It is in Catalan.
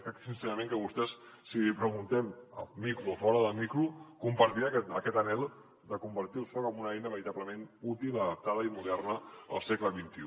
crec sincerament que vostè si l’hi preguntem amb micro o fora de micro compartirà aquest anhel de convertir el soc en una eina veritablement útil adaptada i moderna del segle xxi